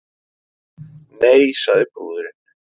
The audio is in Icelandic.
Nei, sagði brúðurin.